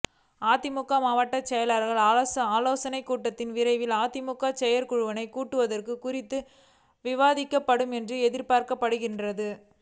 அதிமுக மாவட்ட செயலாளர்களின் ஆலோசனைக் கூட்டத்தில் விரைவில் அதிமுக செயற்குழுவை கூட்டுவது குறித்தும் விவாதிக்கப்படும் என்று எதிர்பார்க்கப்படுகிறது